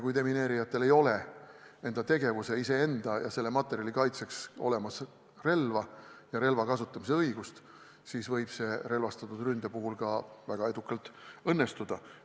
Kui demineerijatel ei ole enda tegevuse, iseenda ja kogu materjali kaitseks relva ega selle kasutamise õigust, siis võib relvastatud rünne väga edukalt õnnestuda.